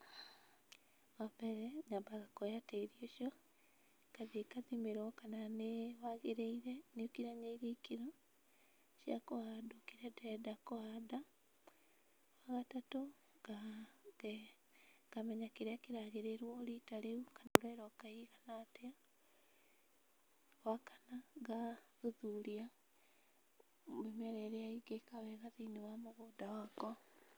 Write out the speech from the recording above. Wambere nyambaga kuoya tĩri ũcio ngathiĩ ngathimĩrwo kana nĩĩ wagĩrĩire nĩũkinyanĩirie ikĩro cia kũhandwo kĩrĩa ndĩrenda kũhanda. Wagatatũ, nga nge ngamenya kĩrĩa kĩragĩrĩrwo rita rĩu kana mbura ĩroka ĩigana atĩa. Wakana, ngathuthuria mĩmera ĩrĩa ĩngĩka wega thĩiniĩ wa mũgũnda wakwa.